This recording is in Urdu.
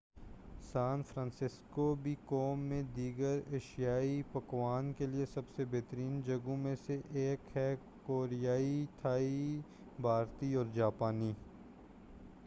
سان فرانسسکو بھی قوم میں دیگر ایشیائی پکوانوں کے لیے سب سے بہترین جگہوں میں سے ایک ہے کوریائی تھائی بھارتی اور جاپانی